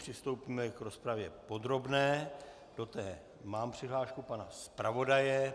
Přistoupíme k rozpravě podrobné, do té mám přihlášku pana zpravodaje.